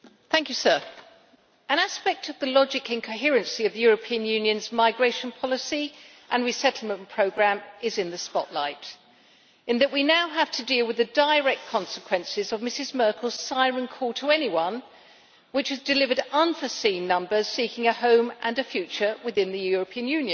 Mr President, an aspect of the logic and coherency of the European Union's migration policy and resettlement programme is in the spotlight in that we now have to deal with the direct consequences of Mrs Merkel's siren call to anyone, which has delivered unforeseen numbers seeking a home and a future within the European Union.